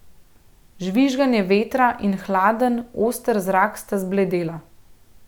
Žvižganje vetra in hladen, oster zrak sta zbledela.